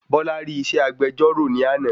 Bola rí isẹ́ agbejọ́rọ̀ ni àná